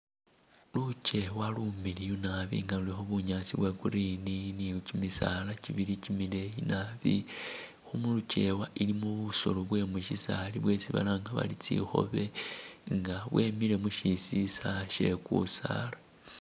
Lukeewa lumiliyu nabi nga lulikho bunyaasi bwa green ni kimisaala kibili kimileeyi nabi. Khu mulukewa ilimo busolo bwe musyisaali bwesi balanga bari tsikhobe nga bwemile musyisisa sye kusaala.